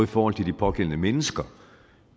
forhold til de pågældende mennesker